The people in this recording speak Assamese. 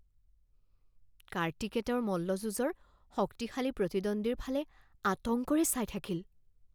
কাৰ্তিকে তেওঁৰ মল্লযুঁজৰ শক্তিশালী প্ৰতিদ্বন্দ্বীৰ ফালে আতংকৰে চাই থাকিল